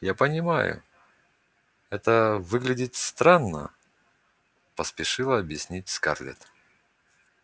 я понимаю это выглядит странно поспешила объяснить скарлетт